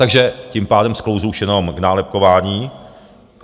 Takže tím pádem sklouzl už jenom k nálepkování.